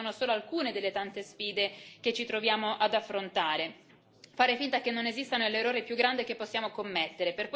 Queste sono solo alcune delle tante sfide che ci troviamo ad affrontare e fare finta che non esistano è l'errore più grande che possiamo commettere.